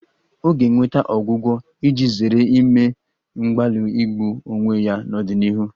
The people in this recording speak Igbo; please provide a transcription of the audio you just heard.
Ọ ga-enweta ọgwụgwọ iji zere ime mgbalị igbu onwe ya n'ọdịnihu